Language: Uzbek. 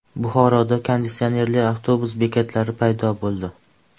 Buxoroda konditsionerli avtobus bekatlari paydo bo‘ldi.